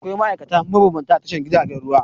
Akwai ma'aikata mabambanta a Tashar jiragen ruwa.